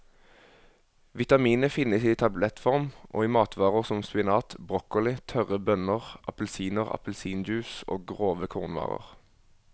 Vitaminet finnes i tablettform og i matvarer som spinat, broccoli, tørre bønner, appelsiner, appelsinjuice og grove kornvarer.